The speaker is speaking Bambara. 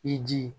I ji